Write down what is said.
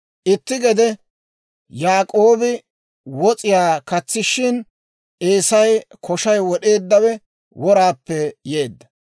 Itti gede Yaak'oobi wos'iyaa katsishin, Eesay koshay wod'eeddawe, woraappe yeedda.